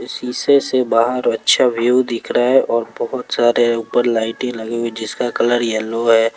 शीशे से बाहर अच्छा व्यू दिख रहा है और बहोत सारे ऊपर लाइटें लगी है जिसका कलर येलो है।